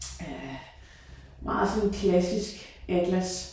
Øh meget sådan klassisk atlas